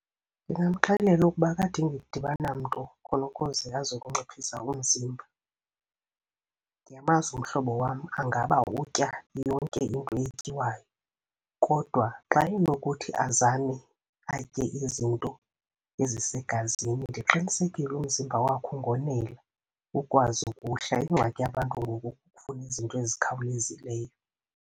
Ndingamxelela ukuba akadingi kudibana namntu khona ukuze azo kunciphisa umzimba. Ndiyamazi umhlobo wam angaba utya yonke into etyiwayo, kodwa xa enokuthi azame atye izinto ezisegazini ndiqinisekile umzimba wakho ungonela ukwazi ukuhla. Ingxaki yabantu ngoku kukufuna izinto ezikhawulezileyo.